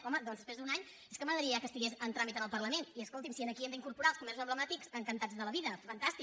home doncs després d’un any és que m’agradaria que ja estigués en tràmit al parlament i si aquí hi hem d’incorporar els comerços emblemàtics encantats de la vida fantàstic